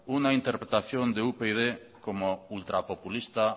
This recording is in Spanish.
una interpretación de upyd como ultrapopulista